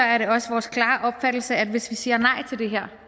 er det også vores klare opfattelse at hvis vi siger nej til det her